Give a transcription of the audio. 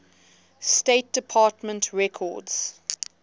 state department records